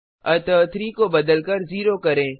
अतः 3 को बदलकर 0 करें